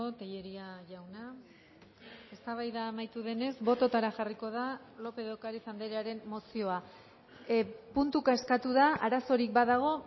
tellería jauna eztabaida amaitu denez bototara jarriko da lópez de ocariz andrearen mozioa puntuka eskatu da arazorik badago